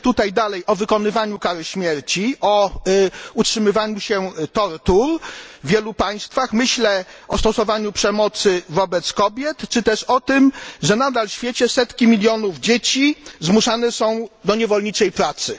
Myślę tutaj o wykonywaniu w dalszym ciągu kary śmierci, o utrzymywaniu się tortur w wielu państwach, myślę o stosowaniu przemocy wobec kobiet czy też o tym, że nadal w świecie setki milionów dzieci zmuszane są do niewolniczej pracy.